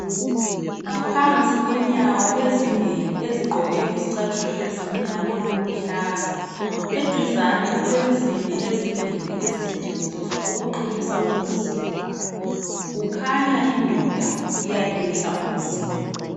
Ngaphansi kwenyawo ezimbili ezigqoke izicathulo ezimnyama kuluhlaza. Eduzani kulensimbi ezimbili ezisetshenziswa ukuqinisa umzimba. Kukhanya indoda iyaqinisa umzimba.